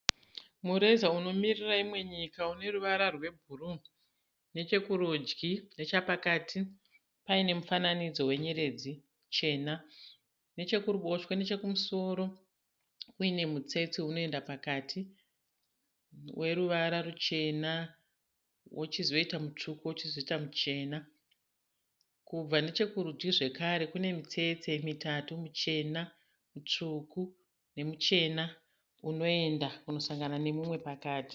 Mureza unomiriri imwe nyika une ruvara rwebhuruu nechekurudyi nechapakati paine mufananidzo wenyeredzi chena nechekuruboshwe nechekumusoro uine mutsetse unoenda pakati weruvara ruchena wochizoita mutsvuku wochizoita muchena kubva nechekurudyi zvekare kune mitsetse mitatu michena mitsvuku nemuchena unoenda kunosangana nemumwe pakati.